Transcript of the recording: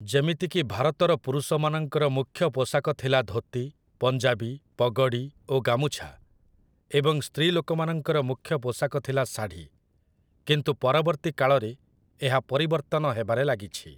ଯେମିତିକି ଭାରତର ପୁରୁଷମାନଙ୍କର ମୁଖ୍ୟ ପୋଷାକ ଥିଲା ଧୋତି, ପଞ୍ଜାବୀ, ପଗଡ଼ି ଓ ଗାମୁଛା ଏଵଂ ସ୍ତ୍ରୀ ଲୋକମାନଙ୍କର ମୁଖ୍ୟ ପୋଷାକ ଥିଲା ଶାଢ଼ୀ, କିନ୍ତୁ ପରବର୍ତ୍ତୀ କାଳରେ ଏହା ପରିବର୍ତ୍ତନ ହେବାରେ ଲାଗିଛି